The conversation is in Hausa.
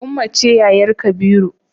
Ummah ce yayar kabiru